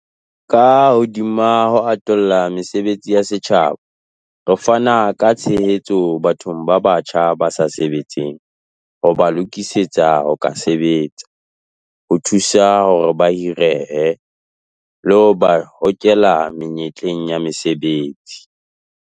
Ka hodima ho atolla mesebetsi ya setjhaba, re fana ka tshehetso bathong ba batjha ba sa sebetseng ho ba lokisetsa ho ka sebetsa, ho thusa hore ba hirehe, le ho ba hokela menyetleng ya mesebetsi.